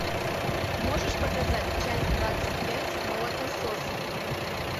можешь показать часть двадцать пять молокососы